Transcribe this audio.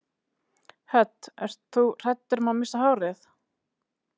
Hödd: Ert þú hræddur um að missa hárið?